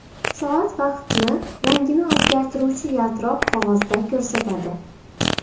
Soat vaqtni rangini o‘zgartiruvchi yaltiroq qog‘ozda ko‘rsatadi.